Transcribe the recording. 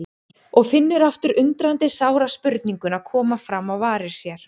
Og finnur aftur undrandi sára spurninguna koma fram á varir sér